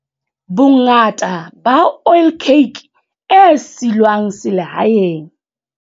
Bongata ba oilcake e silwang selehaeng.